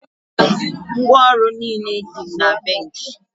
ngwaọrụ niile dị na bench